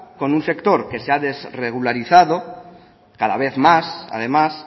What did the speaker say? con un sector que se ha desregularizado cada vez más además